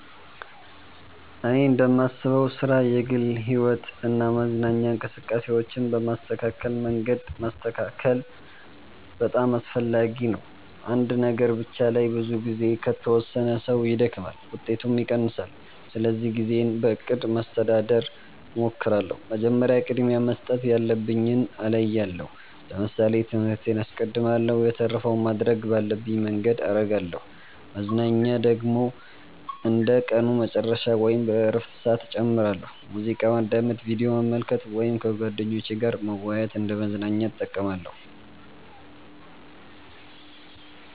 እኔ እንደማስበው ሥራ፣ የግል ሕይወት እና መዝናኛ እንቅስቃሴዎችን በተስተካከለ መንገድ ማስተካከል በጣም አስፈላጊ ነው። አንድ ነገር ብቻ ላይ ብዙ ጊዜ ከተወሰነ ሰው ይደክማል፣ ውጤቱም ይቀንሳል። ስለዚህ ጊዜን በእቅድ ማስተዳደር እሞክራለሁ። መጀመሪያ ቅድሚያ መስጠት ያለብኝን እለያለሁ ለምሳሌ ትምህርቴን አስቀድማለሁ የተረፈውን ማድረግ ባለብኝ መንገድ አረጋለሁ መዝናኛ ደግሞ እንደ ቀኑ መጨረሻ ወይም በእረፍት ሰዓት እጨምራለሁ። ሙዚቃ ማዳመጥ፣ ቪዲዮ መመልከት ወይም ከጓደኞች ጋር መወያየት እንደ መዝናኛ እጠቀማለሁ።